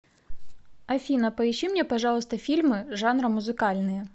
афина поищи мне пожалуйста фильмы жанра музыкальные